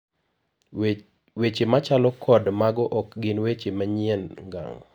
wechemachalo kod mago ok gin weche manyien ngang'